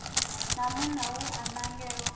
na munna we a nangelwa